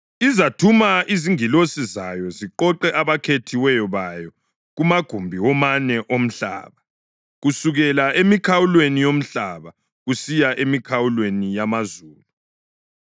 Izathuma izingilosi zayo ziqoqe abakhethiweyo bayo kumagumbi womane omhlaba, kusukela emikhawulweni yomhlaba kusiya emikhawulweni yamazulu.